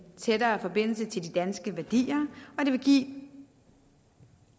tættere forbindelse til de danske værdier og det vil give